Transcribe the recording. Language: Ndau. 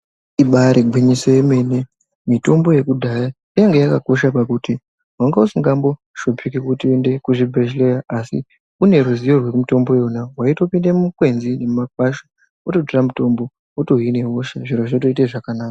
Ibaari gwinyiso yemene, mitombo yekudhaya yange yakakosha pakuti wanga usingamboshupiki kuti uende kuzvibhedhleya. Asi une ruzivo rwemitombo iyona, waitopinde mumakwenzi nemumakwasha wototora mutombo, wotohine hosha, zviro zvotoite zvakanaka.